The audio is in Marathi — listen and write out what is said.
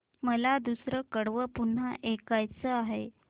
मला दुसरं कडवं पुन्हा ऐकायचं आहे